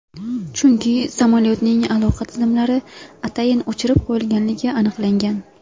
Chunki samolyotning aloqa tizimlari atayin o‘chirib qo‘yilganligi aniqlangan.